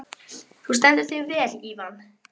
Ég hélt að hann væri hjá þér þessi vinur þinn.